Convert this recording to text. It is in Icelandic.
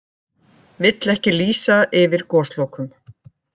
Vill ekki lýsa yfir goslokum